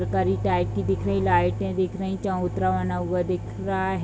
Mercury type की दिख रही लाइटें दिख रहीं चबूतरा बना हुआ दिख रहा है।